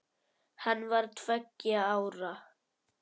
Hann var tveggja ára.